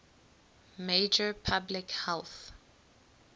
major public health